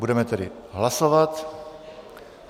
Budeme tedy hlasovat.